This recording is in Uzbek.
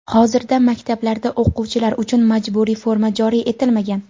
hozirda maktablarda o‘quvchilar uchun majburiy forma joriy etilmagan.